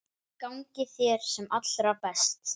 Gangi þér sem allra best.